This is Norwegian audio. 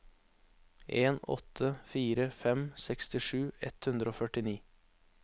en åtte fire fem sekstisju ett hundre og førtini